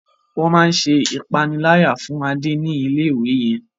Wón má ṣe ìpaniláyà fún Ade ní ilé-ìwé yén.